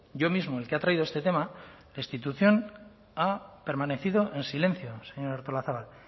yo mismo el que ha traído este tema la institución ha permanecido en silencio señora artolazabal